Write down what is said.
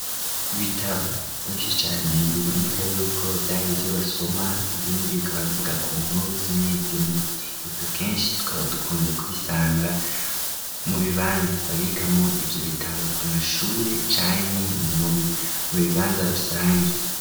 Ibitabo vyinshi cane biboneka yuko vyari ivyo basoma ,ibindi bikaba bivuga ku nkuru zimwe zimwe, ivyo kenshi twaba dukunze kubisanga mu bibanza babikamwo ivyo bitabo, ku mashure canke mu bibanza rusangi.